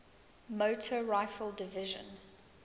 motor rifle division